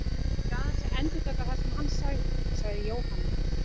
Ég er aðeins að endurtaka það sem hann sagði, sagði Jóhanna.